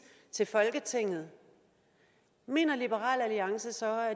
til folketinget mener liberal alliance så at